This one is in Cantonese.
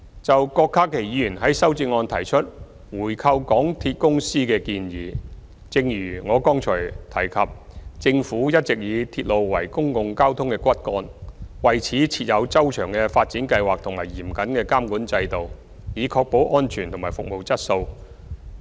就郭家麒議員在修正案中提出回購港鐵公司的建議，正如我剛才提及，政府一直以鐵路為公共交通的骨幹，為此設有周詳的發展計劃和嚴謹的監管制度，以確保安全及服務質素。